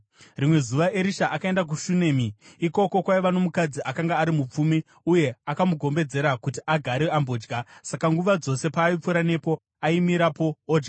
Rimwe zuva Erisha akaenda kuShunemi. Ikoko kwaiva nomukadzi akanga ari mupfumi, uye akamugombedzera kuti agare ambodya. Saka nguva dzose paaipfuura nepo, aimirapo odya.